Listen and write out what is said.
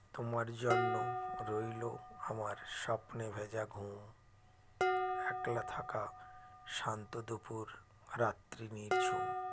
তোমার জন্য রইল আমার স্বপ্নে ভেঁজা ঘুম একলা থাকা শান্ত দুপুর রাত্রি নিঝুম